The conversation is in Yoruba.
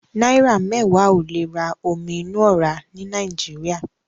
Náírà mẹ́wàá ò lè ra omi inú ọ̀rá ní Nàìjíríà.